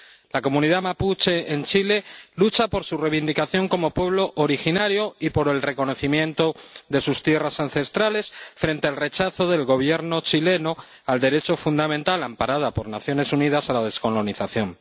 La comunidad mapuche en Chile lucha por su reivindicación como pueblo originario y por el reconocimiento de sus tierras ancestrales, frente al rechazo del Gobierno chileno al derecho fundamental, amparado por las Naciones Unidas, a la descolonización.